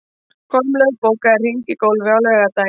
Kormlöð, bókaðu hring í golf á laugardaginn.